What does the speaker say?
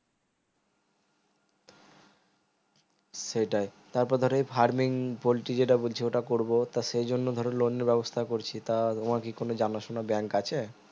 সেটাই তার পর ধরো এই farming পোল্টি যেটা বলছে ওটা করবো তো সেই জন্য ধরো loan এর ব্যবস্থা করছি তা তোমার কি কোনো যানা সোনা bank আছে